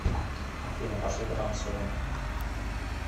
афина пошли потанцуем